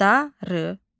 Darı.